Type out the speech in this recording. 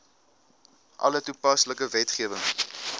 alle toepaslike wetgewing